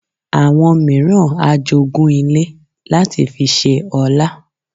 Àwọn mìíràn a jogún ilẹ̀ láti fi ṣe ọlá